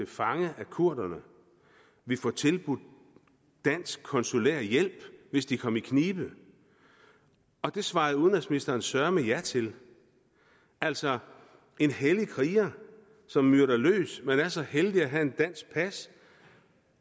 fange af kurderne vil få tilbudt dansk konsulær hjælp hvis de kommer i knibe og det svarede udenrigsministeren søreme ja til altså en hellig kriger som myrder løs men er så heldig at have et dansk pas